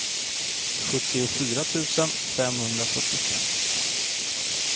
sjuttiofyra tusen femhundrafyrtiofem